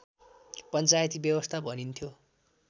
पञ्चायती व्यवस्था भनिन्थ्यो